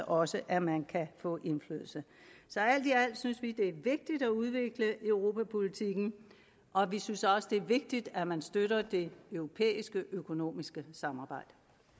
også at man kan få indflydelse så alt i alt synes vi det er vigtigt at udvikle europapolitikken og vi synes også det er vigtigt at man støtter det europæiske økonomiske samarbejde